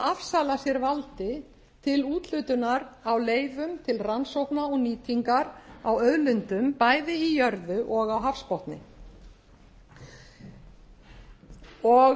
afsala sér valdi til úthlutunar á leyfum til rannsókna og nýtingar á auðlindum bæði í jörðu og á hafsbotni mér varð nú að